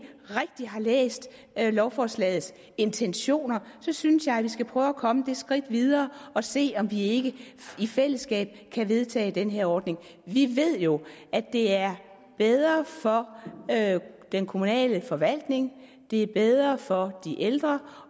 rigtig har læst lovforslagets intentioner synes jeg at vi skal prøve at komme det skridt videre og se om vi ikke i fællesskab kan vedtage den her ordning vi ved jo at det er bedre for den kommunale forvaltning at det er bedre for de ældre